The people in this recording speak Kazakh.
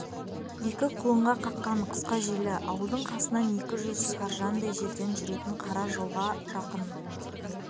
екі құлынға қаққан қысқа желі ауылдың қасынан екі жүз саржандай жерден жүретін қара жолға жақын